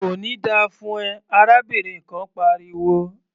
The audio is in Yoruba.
"Kò ní da fún ẹ!" arábìnrin kan pariwo.